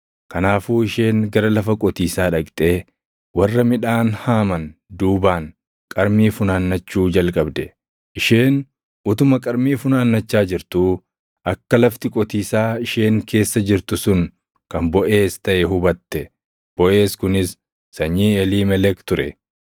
Kanaafuu isheen gara lafa qotiisaa dhaqxee warra midhaan haaman duubaan qarmii funaannachuu jalqabde. Isheen utuma qarmii funaannachaa jirtuu akka lafti qotiisaa isheen keessa jirtu sun kan Boʼeez taʼe hubatte; Boʼeez kunis sanyii Eliimelek ture.